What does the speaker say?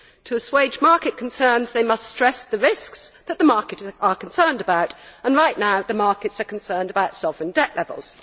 To assuage market concerns they must stress the risks that the markets are concerned about, and right now the markets are concerned about sovereign debt levels.